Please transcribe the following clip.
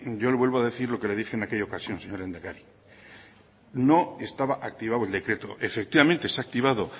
yo le vuelvo a decir lo que le dije en aquella ocasión señor lehendakari no estaba activado el decreto efectivamente se ha activado